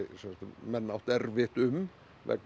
menn áttu erfitt um vegna